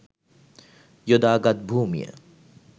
යොදා ගත් භූමිය